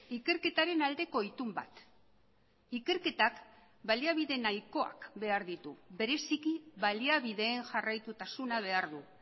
ikerketaren aldeko itun bat ikerketak baliabide nahikoak behar ditu bereziki baliabideen jarraitutasuna behar du